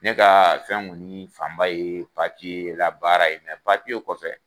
Ne ka fɛn kɔni fan ba ye labaara ye kɔfɛ